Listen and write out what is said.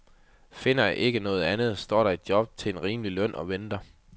Finder jeg ikke noget andet, står der et job til en rimelig løn og venter.